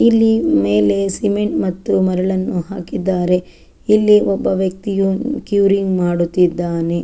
ಇಲ್ಲಿ ಮೇಲೆ ಸಿಮೆಂಟ್ ಮತ್ತು ಮರಳನ್ನು ಹಾಕಿದ್ದಾರೆ ಇಲ್ಲಿ ಒಬ್ಬ ವ್ಯಕ್ತಿಯು ಕ್ಯೂರಿಂಗ್ ಮಾಡುತಿದ್ದಾನೆ.